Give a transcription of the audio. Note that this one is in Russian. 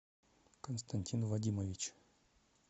константин вадимович